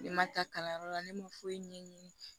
Ne ma taa kalanyɔrɔ la ne ma foyi ɲɛ ɲini